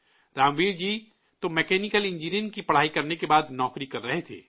رام ویر جی تو mechanical engineering کی پڑھائی کرنے کے بعد نوکری کر رہے تھے